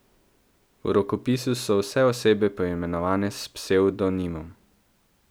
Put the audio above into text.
V rokopisu so vse osebe poimenovane s psevdonimom.